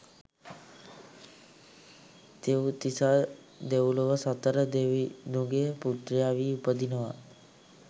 තිව්තිසා දෙව්ලොව සතර දෙවිදුගේ පුත්‍රයා වී උපදිනවා.